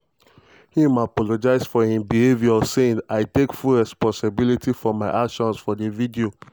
im apologise for im behaviour saying: "i take full responsibility for my actions for di video.